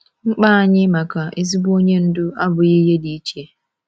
Mkpa anyị maka ezigbo onye ndu abụghị ihe dị iche.